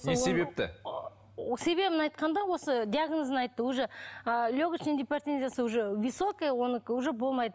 не себепті себебін айтқанда осы диагнозын айтты уже ыыы легочная гипертензиясы уже высокая онікі уже болмайды